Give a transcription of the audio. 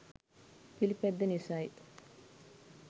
පිළිපැද්ද නිසයි.